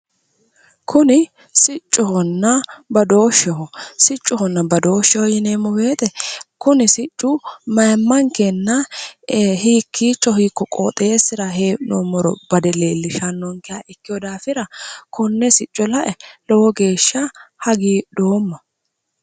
Kuni siccohonna badooshsheho siccohonna badooshsheho yineemmo woyiite kuni siccu mayiimmankenna hiikkiicho hiikko qoxeessira he'noommoro bade leellishannonkeha ikkewo daafira konne sicco la'e lowo geeshsha hagidhoomma